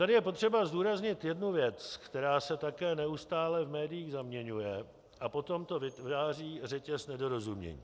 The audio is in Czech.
Tady je potřeba zdůraznit jednu věc, která se také neustále v médiích zaměňuje, a potom to vytváří řetěz nedorozumění.